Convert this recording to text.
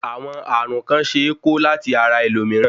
Àwọn ààrùn kàn ṣe é ko láti ara ẹlòmíràn.